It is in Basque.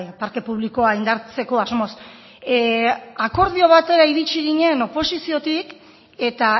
parke publikoa indartzeko asmoz akordio batera iritsi ginen oposiziotik eta